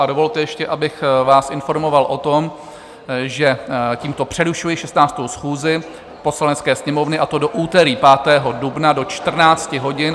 A dovolte ještě, abych vás informoval o tom, že tímto přerušuji 16. schůzi Poslanecké sněmovny, a to do úterý 5. dubna do 14 hodin.